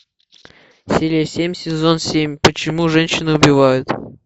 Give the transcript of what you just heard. серия семь сезон семь почему женщины убивают